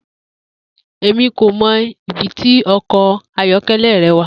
Emi ko mọ ibiti ọkọ ayọkẹlẹ rẹ wa.